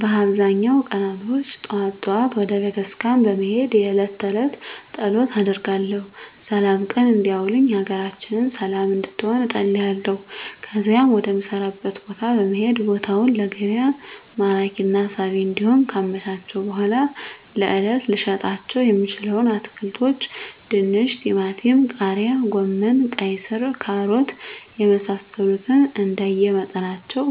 በአብዛኛው ቀናቶች ጠዋት ጠዋት ወደ ቤተክርስቲያን በመሄድ የእለት ተእለት ፀሎት አደርጋለሁ ስላም ቀን እንዲያውለኝ ሀገራችንን ሰለም እንድትሆን እፀልያለሁ ከዚያም ወደ ምሰራበት ቦታ በመሄድ ቦታውን ለገቢያ ማራኪና ሳቢ እንዲሆን ካመቻቸሁ በኃላ ለእለት ልሸጣቸው የምችለዉን አትክልቶች ድንች ቲማቲም ቃሪያ ጎመን ቀይስር ካሮት የመሳሰሉትንእንደየ መጠናቸው